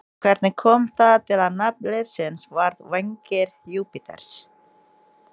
Hvernig kom það til að nafn liðsins varð Vængir Júpíters?